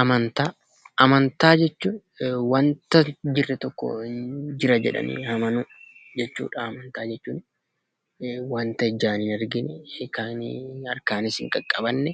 Amantaa; amantaa jechuun, wanta hn jirree tokko jira jedhaani amaanu jechuudha amantaa jechuun, Wanta ijaan hin argine Kan harkaanis hin qaqabaamne